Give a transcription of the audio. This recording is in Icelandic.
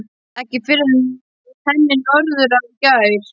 Ekki fyrr en í henni Norðurá í gær.